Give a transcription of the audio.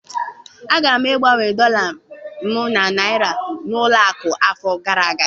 Agara m igbanwe dọla m na naira n'ụlọ akụ afọ gara aga